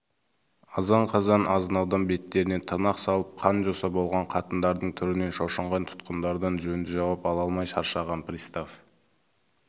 азан-қазан азынаудан беттеріне тырнақ салып қан жоса болған қатындардың түрінен шошынған тұтқындардан жөнді жауап ала алмай шаршаған пристав